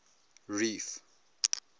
reef